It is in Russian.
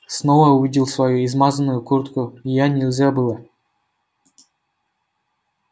снова увидел свою измазанную куртку её нельзя было